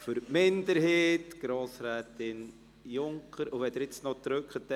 Für die Minderheit hat Grossrätin Junker das Wort.